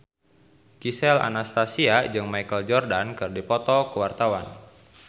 Gisel Anastasia jeung Michael Jordan keur dipoto ku wartawan